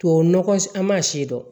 Tubabu nɔgɔ an ma sidɔn